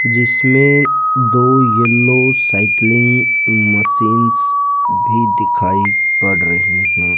जिसमें दो yellow cycling machines भी दिखाई पड़ रही हैं।